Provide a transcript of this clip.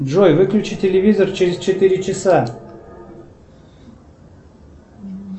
джой выключи телевизор через четыре часа